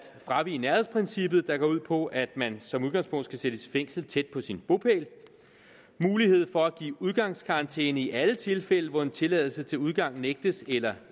fravige nærhedsprincippet der går ud på at man som udgangspunkt skal sættes i fængsel tæt på sin bopæl mulighed for at give udgangskarantæne i alle tilfælde hvor en tilladelse til udgang nægtes eller